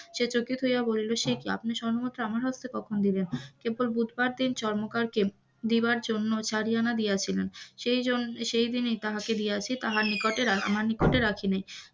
সে চকিত হইয়া বলিল সে কি আপনি স্বর্ণ মুদ্রা আমার হাতে কখন দিলেন কেবল বুধবার দিন স্বর্ণকারকে দেওয়ার জন্য চারি আনা দিয়াছিলেন, সেইজন্য সেই দিনেই তাহাকে দিয়াছি তাহার নিকটে আমার নিকটে রাখি নাই,